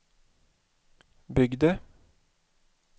byggde